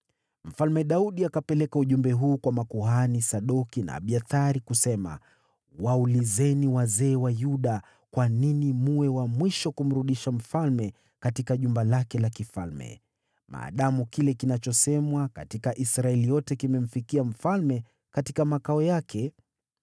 Mfalme Daudi akapeleka ujumbe huu kwa makuhani Sadoki na Abiathari, kusema: “Waulizeni wazee wa Yuda, ‘Kwa nini mwe wa mwisho kumrudisha mfalme katika jumba lake la kifalme, maadamu kile kinachosemwa katika Israeli yote kimemfikia mfalme katika makao yake?